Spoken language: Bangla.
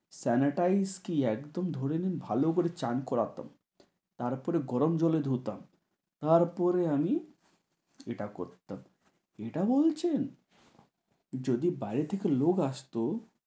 sanitize কী একদম ধরে নিন একদম ভালো করে চান করা হতো তার পরে গরম জলে ধুতাম তার পরে আমি এটা করতাম এটা বলছেন যদি বাইরে থেকে লোক আসতো।